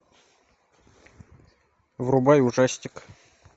врубай ужастик